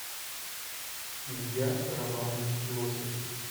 илья романович лосев